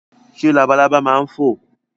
Ṣé labalábá ma ń fò?